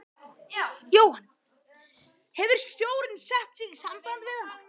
Jóhann: Hefur stjórnin sett sig í samband við hana?